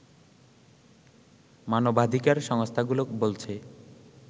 মানবাধিকার সংস্থাগুলো বলছে